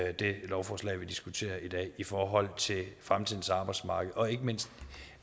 at det lovforslag vi diskuterer i dag i forhold til fremtidens arbejdsmarked og ikke mindst